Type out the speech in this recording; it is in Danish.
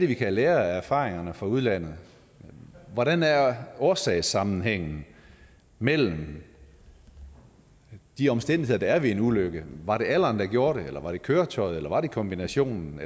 vi kan lære af erfaringerne fra udlandet hvordan er årsagssammenhængen mellem de omstændigheder der er ved en ulykke var det alderen der gjorde det eller var det køretøjet eller var det kombinationen